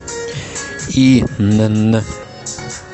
инн